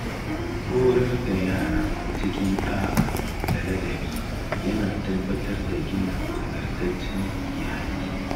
Horar da yara cikin ɗa’a da ladabi yana tabbatar da gina nagartaccen iyali.